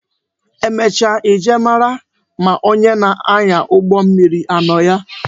Emecha I jee mara ma onye na-anya ụgbọ mmiri anọ ya